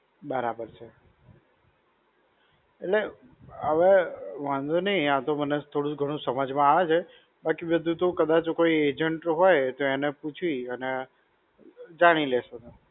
બરાબર છે. એટલે, હવે વાંધો નહિ આતો મને, થોડું ઘણું સમજમાં આવે છે, but મેં કીધું કદાચ કોઈ agent હોય તો એને પૂછી અને જાણી લેશું.